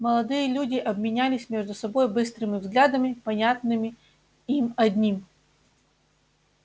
молодые люди обменялись между собой быстрыми взглядами понятными им одним